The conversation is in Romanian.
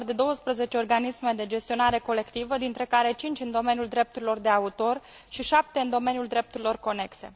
un număr de 12 organisme de gestionare colectivă, dintre care 5 în domeniul drepturilor de autor și 7 în domeniul drepturilor conexe.